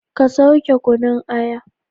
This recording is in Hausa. Ka sauke kunun aya!